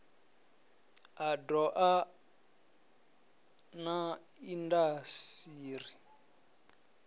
a doa na indas iri